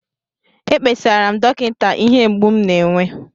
Ekpesara m dọkịta ihe mgbu m na-enwe